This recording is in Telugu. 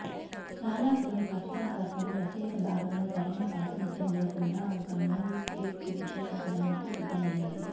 చాలా కొన్ని ప్రచురణకర్తలు రచయిత భాగంగా సరైన ప్రాతినిధ్యం లేకుండా ఒక మాన్యుస్క్రిప్ట్ విశ్లేషించడానికి సిద్ధమయ్యాయి